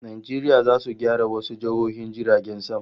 Najeriya zata gyara wasu tashoshin jiragen sama